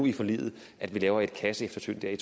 i forliget at vi laver et kasseeftersyn i